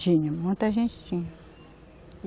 Tinha, muita gente tinha.